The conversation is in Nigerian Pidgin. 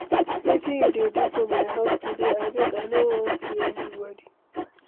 Wetin you dey do for my house today? Abeg, I no wan see anybody.